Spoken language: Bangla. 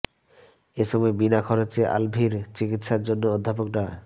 এ সময় বিনা খরচে আলভীর চিকিৎসার জন্য অধ্যাপক ডা